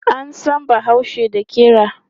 An san bahaushe da ƙira.